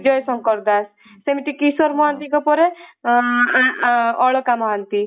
ବିଜୟ ଶଙ୍କର ଦାସ ସେମିତି କିଶୋର ମହାନ୍ତି ଙ୍କ ପରେ ଅଳକା ମହାନ୍ତି